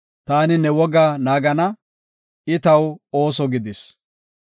Ta Ne woga naagana; I taw ooso gidis.